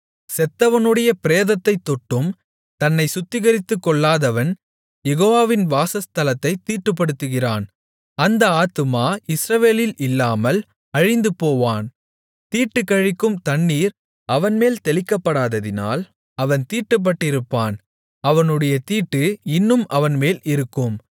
செத்தவனுடைய பிரேதத்தைத் தொட்டும் தன்னைச் சுத்திகரித்துக்கொள்ளாதவன் யெகோவாவின் வாசஸ்தலத்தைத் தீட்டுப்படுத்துகிறான் அந்த ஆத்துமா இஸ்ரவேலில் இல்லாமல் அழிந்துபோவான் தீட்டுக்கழிக்கும் தண்ணீர் அவன்மேல் தெளிக்கப்படாததினால் அவன் தீட்டுப்பட்டிருப்பான் அவனுடைய தீட்டு இன்னும் அவன்மேல் இருக்கும்